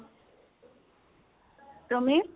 তুমি?